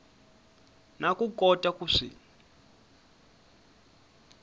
na ku kota ku swi